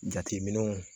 Jateminɛw